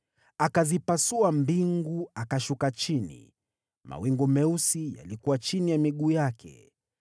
Akazipasua mbingu akashuka chini, mawingu meusi yalikuwa chini ya miguu yake.